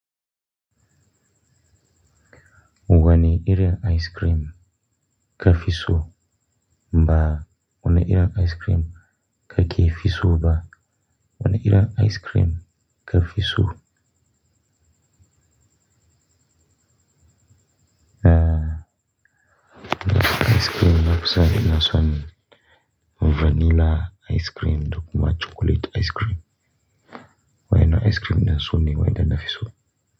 Wani irin ice cream ka fi so? Ba wane irin ice cream kake fi so ba. Wane irin ice cream ka fi so? Eh, ice cream na fi so irin na su vanilla ice cream da kuma chocolate ice cream. Wai ina ice cream na so ne wai da na fi so?